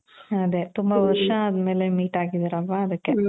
ಅದೇ ತುಂಬಾ ವರ್ಷ ಆದ್ಮೇಲೆ meet ಅಗಿದಿರಿ ಅಲ್ವಾ ಅಧಿಕ್ಕೆ